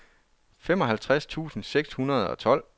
femoghalvtreds tusind seks hundrede og tolv